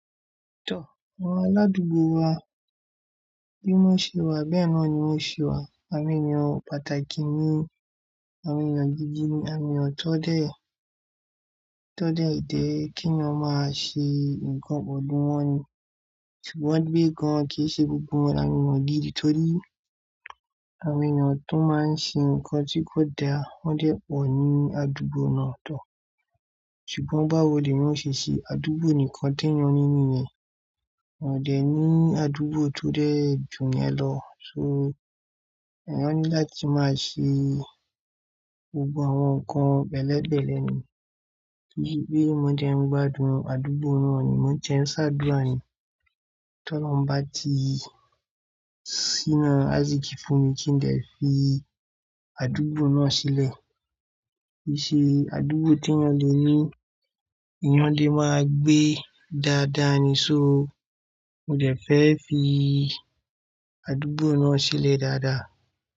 Àwọn aládùúgbò wa, bí wọ́n ṣe wà bẹ́ẹ̀ náà ni wón ṣe wà. Awon eeyan pàtàkì ni, awon eeyan gidi ni awon tọ̀ dẹ̀ je kí eeyan máa ṣe nǹkan pelu wọn ni. Ṣùgbọ́n pé gan, kí í ṣe gbogbo won ni àwọn eniyan gidi torí, awon eniyan ti won máa ń ṣe nǹkan tí kò da wọn dẹ̀ pọ̀ ní àdúgbò náà tọ́. Ṣùgbọ́n báwo ni eniyan o se ṣe? Àdúgbò nìkan tí ẹnìyàn ní nìyẹn, wọn dẹ̀ ní àdúgbò tó dẹ̀ ju yẹn lọ. So, ẹniyan ni láti máa ṣe gbogbo àwọn nǹkan bẹ̀lẹ̀bẹ̀lẹ̀ ni, torí pé wọn dẹ̀ ń gbádùn àdúgbò náà ni, wọn dẹ̀ ń ṣàdúrà ni. Ti Olohun bá tí síná aisiki fún mi kí n dè fi àdúgbò náà sílẹ̀. Kí í ṣe àdúgbò tí ẹnìyàn le ní èniyàn lẹ̀ máa gbé dáadáa ni. So, mo dẹ̀ fẹ́ fi àdúgbò náà sílẹ̀ dáadáa.